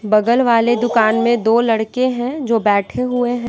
बगल वाले दुकान में दो लड़के हैं जो बैठे हुए हैं।